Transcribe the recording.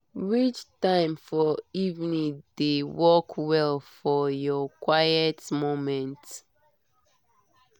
which time for evening dey work well for your quiet moments?